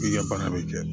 I ka baara bɛ kɛ